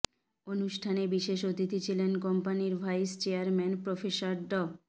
অনুষ্ঠানে বিশেষ অতিথি ছিলেন কম্পানির ভাইস চেয়ারম্যান প্রফেসর ড